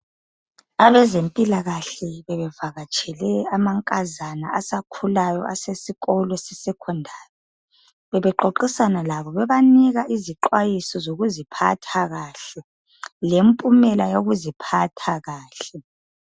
Abezempilakahle bebevakatshele amankazana asakhulayo asesikolo sesecondary .Bebexoxisana labo bebanika izixwayiso sokuziphatha kahle lempumela yokuziphatha kahle.